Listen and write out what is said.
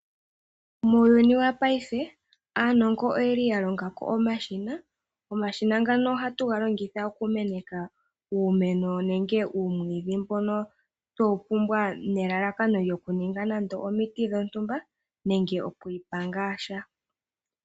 Muuyunu wapaife, aanongo oye li yalonga ko omashina. Omashina ngano oha tu ga longitha okumeneka uumeno nenge uumwiidhi mbono twe wu pumbwa nelalaka lyo ku ninga nande omiti dhontumba nenge okwiipa ngaa sha.